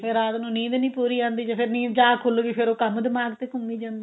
ਫ਼ਿਰ ਰਾਤ ਨੂੰ ਨੀਂਦ ਨੀ ਪੂਰੀ ਆਂਦੀ ਜੇ ਫ਼ਿਰ ਜਾਗ ਖੁੱਲਗੀ ਫ਼ਿਰ ਕੰਮ ਦਿਮਾਗ ਤੇ ਘੁੰਮੀ ਜਾਂਦਾ